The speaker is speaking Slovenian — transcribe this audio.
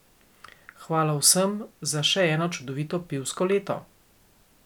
Hvala vsem za še eno čudovito pivsko leto!